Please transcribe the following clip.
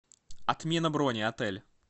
отмена брони отель